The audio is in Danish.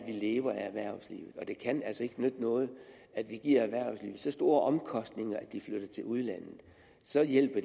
vi lever af erhvervslivet og det kan altså ikke nytte noget at vi giver erhvervslivet så store omkostninger at det flytter til udlandet så hjælper